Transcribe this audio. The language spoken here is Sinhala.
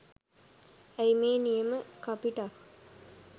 ඇයි මේ නියම කපිටක්